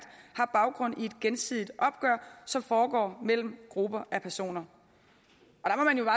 har baggrund i et gensidigt opgør som foregår mellem grupper af personer